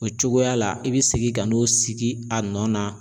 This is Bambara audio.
O cogoya la i bɛ segin ka n'o sigi a nɔ na